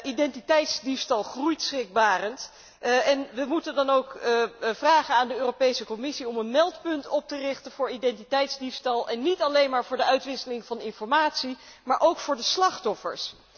Identiteitsdiefstal groeit schrikbarend en we moeten dan ook vragen aan de Europese Commissie om een meldpunt op te richten voor identiteitsdiefstal en niet alleen maar voor de uitwisseling van informatie, maar ook ten behoeve van de slachtoffers.